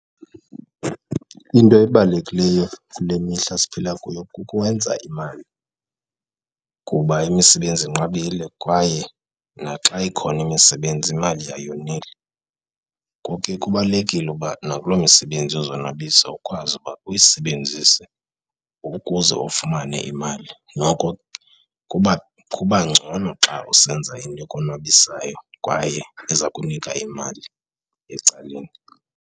Into ebalulekileyo kule mihla siphila kuyo kukwenza imali kuba imisebenzi inqabile kwaye naxa ikhona imisebenzi imali ayoneli ngoku ke kubalulekile ukuba nakulo misebenzi yozonwabisa ukwazi ukuba uyisebenzise ukuze ufumane imali. Noko kuba ngcono xa usenza into ekonwabisayo kwaye ezakunika imali ecaleni.